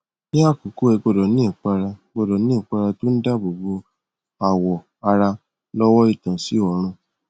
ní àkọkọ ẹ gbọdọ ní ìpara gbọdọ ní ìpara tó ń dààbòbo awọ ara lọwọ ìtànsí òòrùn